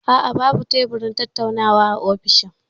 A'a, babu teburin tattaunawa a ofishin.